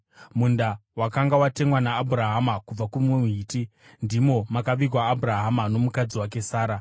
munda wakanga watengwa naAbhurahama kubva kumuHiti. Ndimo makavigwa Abhurahama nomukadzi wake Sara.